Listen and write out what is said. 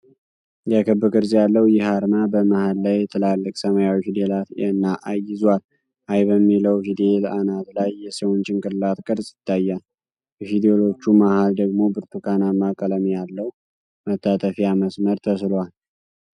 የክብ ቅርጽ ያለው ይህ አርማ፣ በመሃል ላይ ትላልቅ ሰማያዊ ፊደላት 'A' እና 'I' ይዟል። 'I' በሚለው ፊደል አናት ላይ የሰውን ጭንቅላት ቅርፅ ይታያል። በፊደሎቹ መሀል ደግሞ ብርቱካናማ ቀለም ያለው መታጠፊያ መስመር ተስሏል።